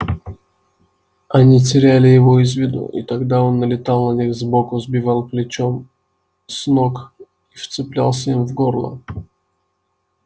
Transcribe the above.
они теряли его из виду и тогда он налетал на них сбоку сбивал плечом с ног и вцеплялся им в горло